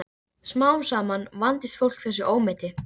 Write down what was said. Þá reis hann upp í rekkju sinni.